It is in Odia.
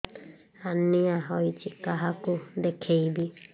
ହାର୍ନିଆ ହୋଇଛି କାହାକୁ ଦେଖେଇବି